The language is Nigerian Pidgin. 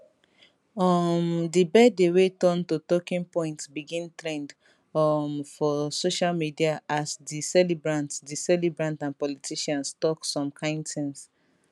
um di birthday wey turn to talking point begin trend um for social media as di celebrant di celebrant and politicians tok some kain tins